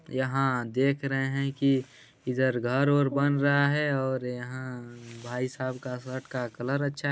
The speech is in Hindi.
यहाँ देख रहे हैं की इधर घर वर बन रहा है और यहाँ भाई साहब का शर्ट का कलर अच्छा है।